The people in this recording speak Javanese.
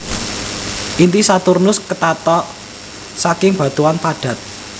Inti Saturnus ketata saking batuan padat